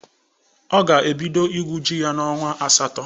Ọ ga-ebido igwu ji ya n'ọnwa asatọ.